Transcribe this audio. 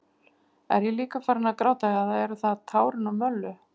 Er ég líka farinn að gráta eða eru það tárin úr Möllu?